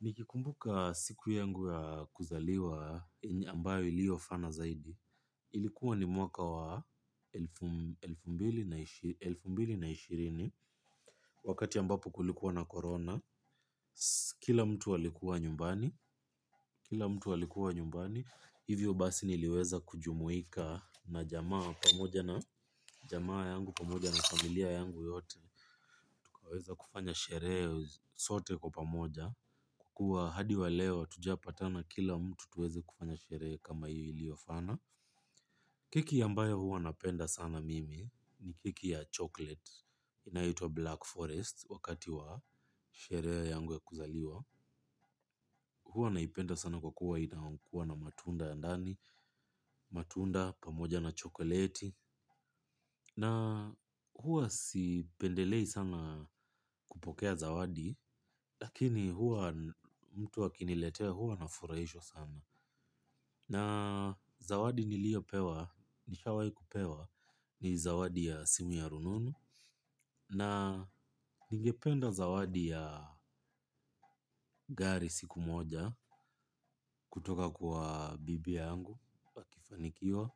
nikikumbuka siku yangu ya kuzaliwa ambayo iliofana zaidi. Ilikuwa ni mwaka wa elfu mbili na ishirini. Wakati ambapo kulikuwa na corona. Kila mtu alikuwa nyumbani hivyo basi niliweza kujumuika na jamaa pamoja na jamaa yangu pamoja na familia yangu yote tukaweza kufanya sherehe sote kwa pamoja kwa kuwa hadi wa leo hatujawahi weza kupatana tufanye sherehe kama hiyo iliyofana keki ambayo huwa napenda sana mimi ni keki ya chocolate ambayo huitwa black forest wakati wa sherehe yangu za kuzaliwa. Huwa naipenda sana kwa kuwa inakuwa na matunda ndani, matunda, pamoja na chokoleti. Na huwa sipendelei sana kupokea zawadi, lakini huwa mtu akiniletea huwa na furahishwa sana. Na zawadi niliopewa, nishawahi kupewa ni zawadi ya simu ya rununu. Na ningependa zawadi ya gari siku moja kutoka kwa bibi yangu akifanikiwa.